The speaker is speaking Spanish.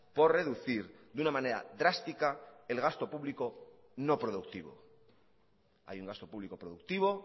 por reducir de una manera drástica el gasto público no productivo hay un gasto público productivo